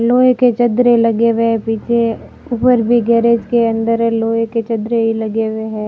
लोहे के चद्दरे लगे हुए पीछे ऊपर भी गैरेज के अंदर लोहे के चद्दरे लगे हुए हैं।